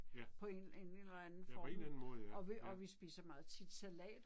Ja. Ja på en eller anden måde ja, ja